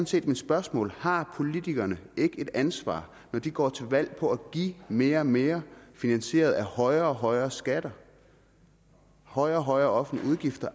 set mit spørgsmål har politikerne ikke et ansvar når de går til valg på at give mere og mere finansieret af højere og højere skatter højere og højere offentlige udgifter